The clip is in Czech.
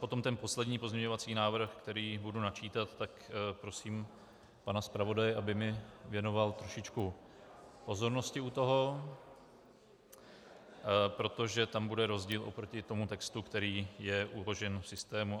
Potom ten poslední pozměňovací návrh, který budu načítat, tak prosím pana zpravodaje, aby mi věnoval trošičku pozornosti u toho, protože tam bude rozdíl oproti tomu textu, který je uložen v systému.